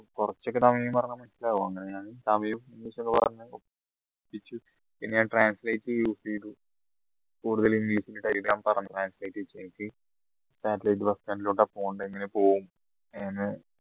കുറച്ചൊക്കെ തമിഴ് പറഞ്ഞാൽ മനസ്സിലാവും അങ്ങനെ ഞാൻ തമിഴ് പിന്നെ ഞാൻ translate use ചെയ്തു കൂടുതൽ satellite bus stand ലോട്ട പോണ്ടേ എങ്ങനെ പോവും എന്ന്